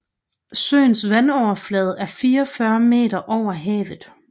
Søens vandoverflade er 44 m over havet